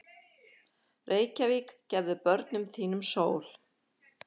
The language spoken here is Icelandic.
Reykjavík, gefðu börnum þínum sól!